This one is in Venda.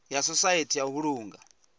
ya sosaithi ya u vhulunga